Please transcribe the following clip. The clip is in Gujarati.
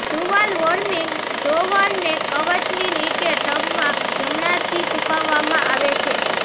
ટુવાલ વોર્મિંગ ડ્રોવરને કવચની નીચે ટબના જમણાથી છુપાવવામાં આવે છે